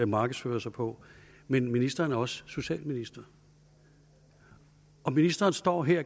markedsfører sig på men ministeren er også socialminister ministeren står her